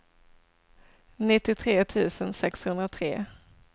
nittiotre tusen sexhundratre